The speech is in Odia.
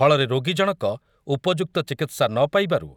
ଫଳରେ ରୋଗୀ ଜଣକ ଉପଯୁକ୍ତ ଚିକିତ୍ସା ନ ପାଇବାରୁ